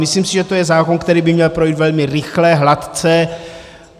Myslím si, že je to zákon, který by měl projít velmi rychle, hladce.